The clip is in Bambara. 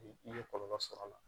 I ye kɔlɔlɔ sɔrɔ a la